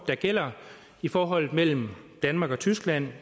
der gælder i forholdet mellem danmark og tyskland